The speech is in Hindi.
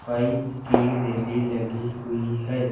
पाइप की रेली लगी हुई हैं।